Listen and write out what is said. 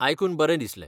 आयकून बरें दिसलें.